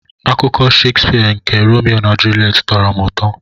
Akụkọ Shakespeare nke Romeo na Juliet tọrọ m ụtọ.